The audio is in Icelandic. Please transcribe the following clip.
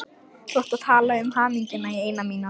Þú átt að tala um hamingjuna í eina mínútu.